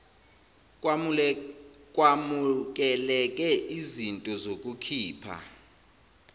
kwamukeleke iznto zokukhipha